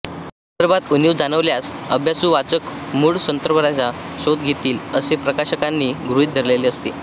संदर्भात उणीव जाणवल्यास अभ्यासू वाचक मूळ संदर्भांचा शोध घेतील असे प्रकाशकांनी गृहीत धरलेले असते